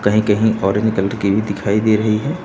कहीं कहीं orange colour की भी दिखाई दे रही है।